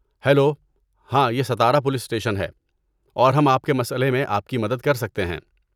Hello, ہاں یہ Sitara police station ہے اور ہم آپ کے مسئلے میں آپ کی مدد کر سکتے ہیں۔